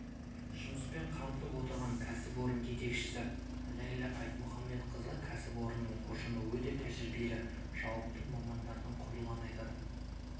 жұмыспен қамтып отырған кәсіпорын жетекшісі ләйла айтмұхаметқызы кәсіпорынның ұжымы өте тәжірибелі жауапты мамандардан құралғанын айтады